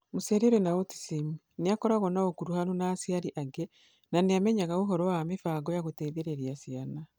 Mũciari ũrĩ na autism nĩ agakorũo na ũkuruhanu na aciari angĩ na nĩ amenyaga ũhoro wa mĩbango ya gũteithĩrĩria ciana.